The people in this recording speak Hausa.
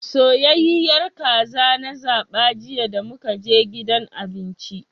Soyayyiyar kaza na zaba jiya damukaje gidan abinci.